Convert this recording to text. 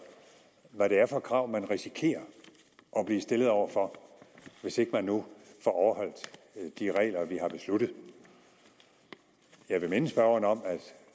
hvad det er for krav man risikerer at blive stillet over for hvis ikke man nu får overholdt de regler vi har besluttet jeg vil minde spørgeren om